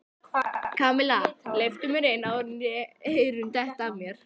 Kamilla, hleyptu mér inn áður en eyrun detta af mér